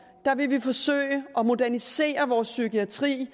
vil vi forsøge at modernisere vores psykiatri